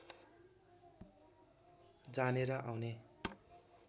जाने र आउने